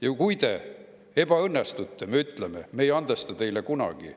Ja kui te ebaõnnestute, me ütleme, me ei andesta teile kunagi.